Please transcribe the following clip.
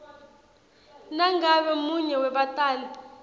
nangabe munye webatali